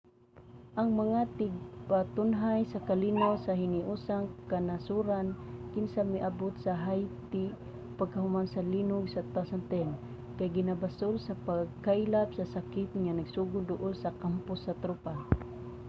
ang mga tigpatunhay sa kalinaw sa hiniusang kanasoran kinsa miabot sa haiti pagkahuman sa linog sa 2010 kay ginabasol sa pagkaylap sa sakit nga nagsugod duol sa kampo sa tropa